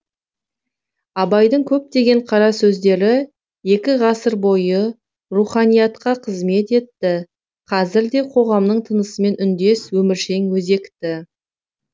абайдың көптеген қара сөздері екі ғасыр бойы руханиятқа қызмет етті қазір де қоғамның тынысымен үндес өміршең өзекті